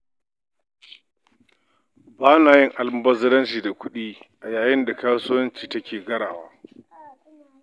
Ba na yin almubazzaranci da kuɗi a yayin da kasuwa take garawa